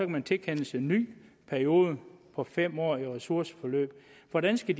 man tilkendes en ny periode på fem år i ressourceforløb hvordan skal